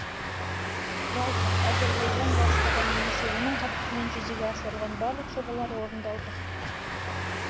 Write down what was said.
жалпы әзірбайжан бастаған немесе оның қатысуымен жүзеге асырылған барлық жобалар орындалды